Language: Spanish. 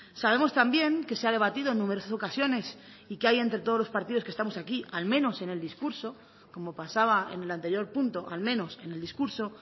sabemos también que se ha debatido en numerosas ocasiones y que hay entre todos los partidos que estamos aquí al menos en el discurso como pasaba en el anterior punto al menos en el discurso